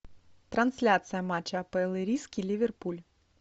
трансляция матча апл ириски ливерпуль